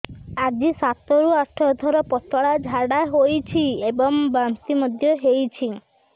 ଆଜି ସାତରୁ ଆଠ ଥର ପତଳା ଝାଡ଼ା ହୋଇଛି ଏବଂ ବାନ୍ତି ମଧ୍ୟ ହେଇଛି